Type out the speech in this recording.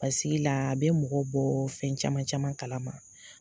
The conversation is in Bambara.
Basigila a bɛ mɔgɔ bɔ fɛn caman caman kala ma.